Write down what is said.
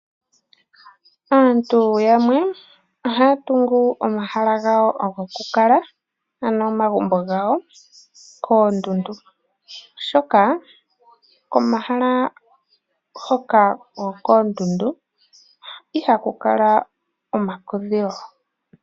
Aantu yamwe ohaya tungu omahala gawo gokukalwa ano omagumbo gawo koondundu , oshoka komahala hoka koondundu ihaku kala omakudhilo.